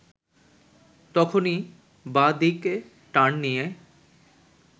তখনই বাঁ দিকে টার্ন নিয়ে